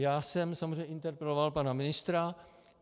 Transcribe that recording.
Já jsem samozřejmě interpeloval pana ministra.